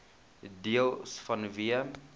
deels vanweë